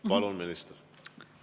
Palun, minister!